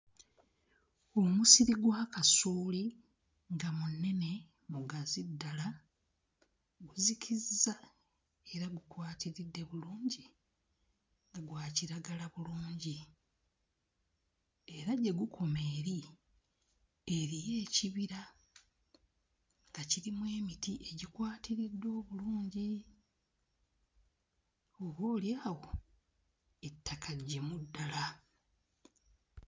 Omusiri gwa kasooli nga munene mugazi ddala guzikizza era gukwatiridde bulungi gwa kiragala bulungi era gye gukoma eri eriyo ekibira nga kirimu emiti egikwatiridde obulungi oboolyawo ettaka ggimu ddala.